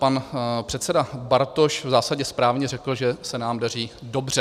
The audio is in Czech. Pan předseda Bartoš v zásadě správně řekl, že se nám daří dobře.